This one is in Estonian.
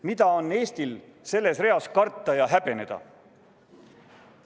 Mida on Eestil selles reas karta ja häbeneda?